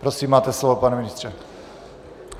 Prosím, máte slovo, pane ministře.